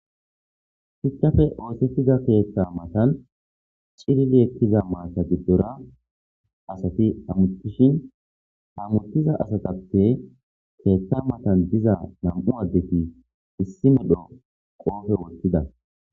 Shuchape ossetida ketha mattani cilili eqida matta gidora assati hamutishe hamutidda assatappe ketha mattani diza namu'u assati qobe wothida